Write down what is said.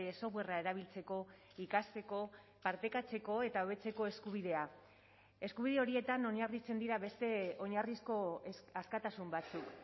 softwarea erabiltzeko ikasteko partekatzeko eta hobetzeko eskubidea eskubide horietan oinarritzen dira beste oinarrizko askatasun batzuk